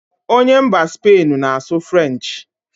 Onye mba Spain ahụ na-asụ frenchị